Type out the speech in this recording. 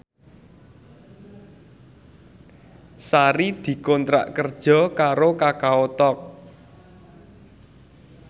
Sari dikontrak kerja karo Kakao Talk